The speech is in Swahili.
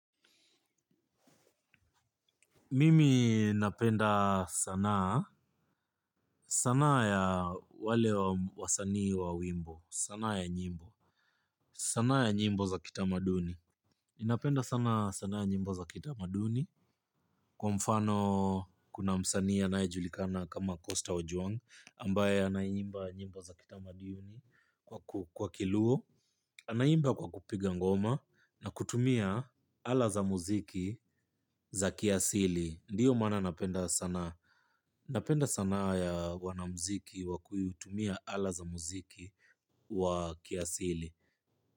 Mimi napenda sanaa, sanaa ya wale wa sanii wa wimbo, sanaa ya nyimbo, sanaa ya nyimbo za kitamaduni. Ni napenda sana sanaa ya nyimbo za kitamaduni. Kwa mfano kuna msanii anayejulikana kama Costa ojuwangi ambaye anaimba nyimbo za kitama duni kwa kiluo. Anaimba kwa kupiga ngoma na kutumia ala za muziki za kiasili ndiyo maana napenda sanaa. Napenda sanaa ya wanamuziki wa kuitumia ala za muziki wa kiasili.